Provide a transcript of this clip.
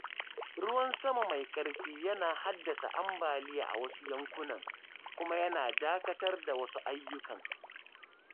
Ruwan sama mai ƙarfi yana haddasa ambaliya a wasu yankunan, kuma yana dakatar da wasu ayyukan.